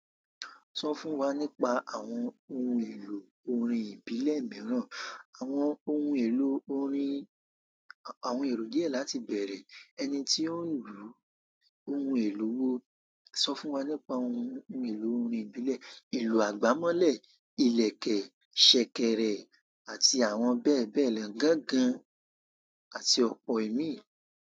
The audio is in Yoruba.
Sọ fún wa nípa àwọn ohun èlò orin ìbílẹ̀ mìíràn. Àwọn ohun èlò orin, àwọn èrò díẹ̀ láti bẹ̀rẹ̀. Ẹni tí ó ń lu ohun èlò wo, sọ fún wa nípa ohun èlò orin ìbílẹ̀, ìlù àgbámọ́lẹ̀, ìlẹ̀kẹ̀, ṣẹ̀kẹ̀rẹ̀, àti àwọn bẹ́ẹ̀ bẹ́ẹ̀ lọ gangan àti ọ̀pọ̀ imí.